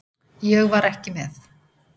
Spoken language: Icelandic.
Ég var ekki með.